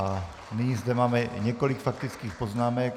A nyní zde máme několik faktických poznámek.